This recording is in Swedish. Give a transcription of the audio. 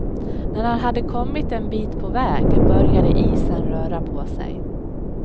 När han hade kommit en bit på väg, började isen röra på sig.